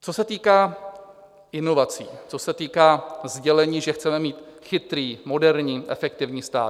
Co se týká inovací, co se týká sdělení, že chceme mít chytrý, moderní, efektivní stát.